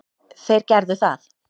Þeir gerðu það.